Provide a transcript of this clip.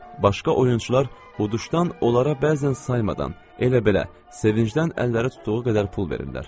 Başqa oyunçular xoduşdan onlara bəzən saymadan elə-belə sevincdən əlləri tutduğu qədər pul verirdilər.